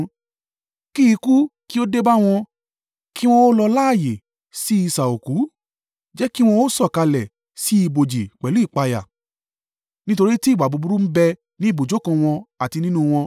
Kí ikú kí ó dé bá wọn, kí wọn ó lọ láààyè sí isà òkú, jẹ́ kí wọn ó sọ̀kalẹ̀ sí ibojì pẹ̀lú ìpayà, nítorí tí ìwà búburú ń bẹ ní ibùjókòó wọn, àti nínú wọn.